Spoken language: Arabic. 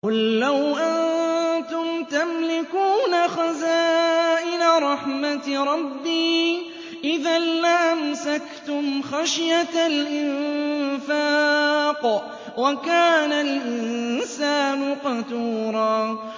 قُل لَّوْ أَنتُمْ تَمْلِكُونَ خَزَائِنَ رَحْمَةِ رَبِّي إِذًا لَّأَمْسَكْتُمْ خَشْيَةَ الْإِنفَاقِ ۚ وَكَانَ الْإِنسَانُ قَتُورًا